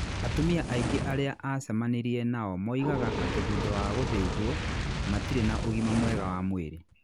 Atumia aingĩ arĩa aacemanirie nao moigaga atĩ thutha wa gũthĩnjwo, matirĩ na ũgima mwega wa mwĩrĩ.